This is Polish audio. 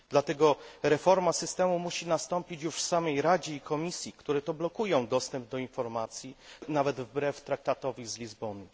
Dlatego reforma systemu musi nastąpić już w samej Radzie i Komisji, które blokują dostęp do informacji, nawet wbrew Traktatowi z Lizbony.